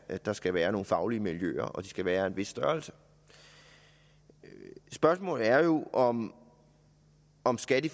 at der skal være nogle faglige miljøer og at de skal være af en vis størrelse spørgsmålet er jo om om skat i